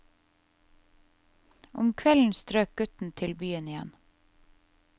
Om kvelden strøk gutten til byen igjen.